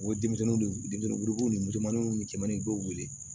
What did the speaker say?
U ye denmisɛnninw de ye denmisɛnninw musomanninw ni cɛmanin dɔw wele